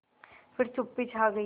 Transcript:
फिर चुप्पी छा गई